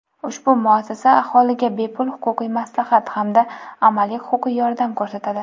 Ushbu muassasa aholiga bepul huquqiy maslahat hamda amaliy huquqiy yordam ko‘rsatadi.